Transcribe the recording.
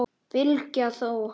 Bylgja þó!